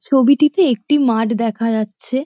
ছবিটিতে একটি মাঠ দেখা যাচ্ছে।